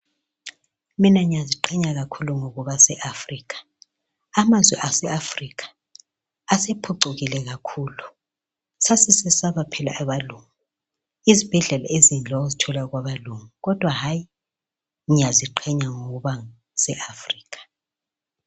Mina ngiyaziqhenya ngokuba se Africa amazwe ase Africa sephucukile kakhulu sasisesaba phela abelungu izibhedlela ezinhle wawuzithola kwabelungu kodwa hayi ngiyaziqhenya ngokuba se Africa.